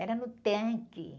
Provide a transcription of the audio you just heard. Era no tanque.